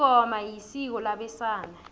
ingoma isiko labesana